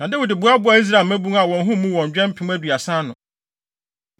Na Dawid boaboaa Israel mmabun a wɔn ho mmu wɔn dwɛ mpem aduasa ano.